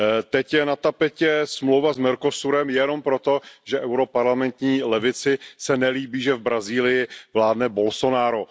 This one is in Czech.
Teď je na tapetě smlouva s Mercosurem jenom proto, že europarlamentní levici se nelíbí, že v Brazílii vládne Bolsonaro.